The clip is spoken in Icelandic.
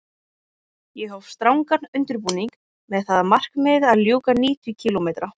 Ég hóf strangan undirbúning með það að markmiði að ljúka níutíu kílómetra